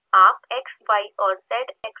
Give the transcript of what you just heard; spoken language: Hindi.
आप x y और z एक्सीस देख सकते हैं